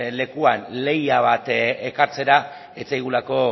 lekuan lehia bat ekartzea ez zaigulako